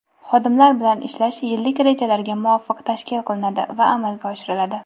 Xodimlar bilan ishlash yillik rejalarga muvofiq tashkil qilinadi va amalga oshiriladi.